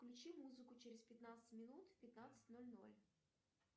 включи музыку через пятнадцать минут в пятнадцать ноль ноль